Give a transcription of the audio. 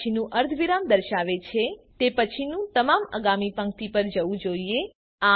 પ પછીનું અર્ધવિરામ દર્શાવે છે કે તે પછીનું તમામ આગામી પંક્તિ પર જવું જોઈએ